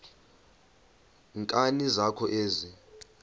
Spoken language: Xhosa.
nkani zakho ezi